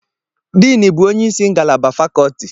Dean bụ onye isi ngalaba fakoti.